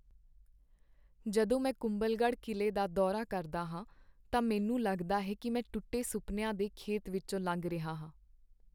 ਜਦੋਂ ਮੈਂ ਕੁੰਭਲਗੜ੍ਹ ਕਿਲ੍ਹੇ ਦਾ ਦੌਰਾ ਕਰਦਾ ਹਾਂ ਤਾਂ ਮੈਨੂੰ ਲੱਗਦਾ ਹੈ ਕਿ ਮੈਂ ਟੁੱਟੇ ਸੁਪਨਿਆਂ ਦੇ ਖੇਤ ਵਿੱਚੋਂ ਲੰਘ ਰਿਹਾ ਹਾਂ।